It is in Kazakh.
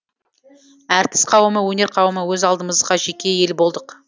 әртіс қауымы өнер қауымы өз алдымызға жеке ел болдық